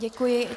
Děkuji.